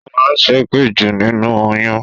Ó máa ń ṣépè jù nínú oyún